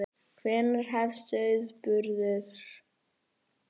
Hvenær hefst sauðburður?